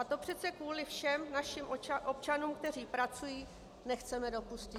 A to přece kvůli všem našim občanům, kteří pracují, nechceme dopustit.